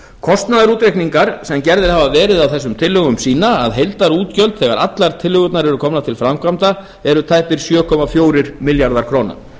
kostnaðarútreikningar sem gerðir hafa verið á þessum tillögum sýna að heildarútgjöld þegar allar tillögurnar eru komnar til framkvæmda eru tæpir sjö komma fjórir milljarðar króna